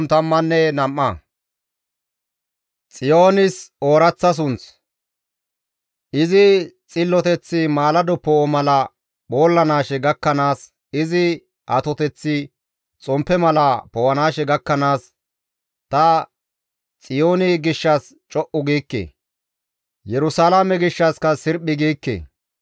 Izi xilloteththi maalado poo7o mala phoollanaashe gakkanaas, izi atoteththi xomppe mala poo7anaashe gakkanaas ta Xiyooni gishshas co7u giikke; Yerusalaame gishshassika sirphi giikke.